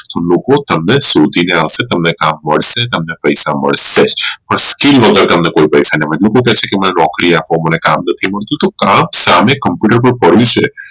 તો લોકો તમને શોધીને આવશે તમને કામ મળશે તમને પૈસા મળશે જ પણ skill વગર તમને કોઈ પૈસા નઈ મળે લોકો કેહ્શે મને કામ આપો મને નોકરી આપો તો કામ સામે computer પાર પડ્યું છે